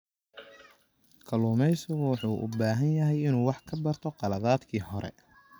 Kalluumeysigu wuxuu u baahan yahay inuu wax ka barto khaladaadkii hore.